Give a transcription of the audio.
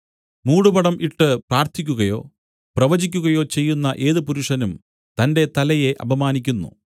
മൂടുപടം ഇട്ട് പ്രാർത്ഥിക്കുകയോ പ്രവചിക്കുകയോ ചെയ്യുന്ന ഏത് പുരുഷനും തന്റെ തലയെ അപമാനിക്കുന്നു